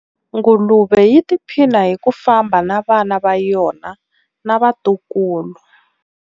Nguluve yi tiphina hi ku famba na vana va yona na vatukulu.